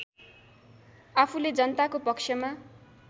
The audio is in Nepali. आफूले जनताको पक्षमा